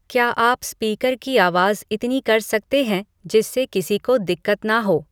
क्या आप स्पीकर की आवाज़ इतनी कर सकते हैं जिससे किसी को दिक्कत ना हो